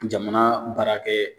Jamana baarakɛ